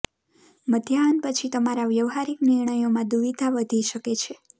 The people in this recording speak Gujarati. મધ્યાહન પછી તમારા વ્યવહારીક નિર્ણયો માં દુવિધા વધી શકે છે